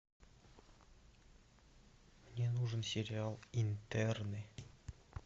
мне нужен сериал интерны